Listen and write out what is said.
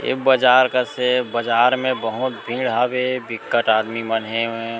ये बाजार कस ए बाजार मे बहोत भीड़ हवे बिक्कट आदमी मन हेवय।